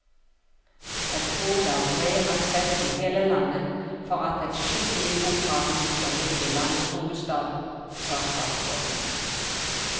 Jeg tror det er bred aksept i hele landet for at et skikkelig operahus bør ligge i landets hovedstad, sa statsråden.